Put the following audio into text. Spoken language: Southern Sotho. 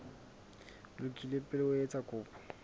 lokile pele o etsa kopo